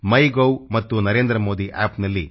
in ಮತ್ತು ನರೇಂದ್ರಮೋದಿ ಆಪ್ನಲ್ಲಿ narendramodi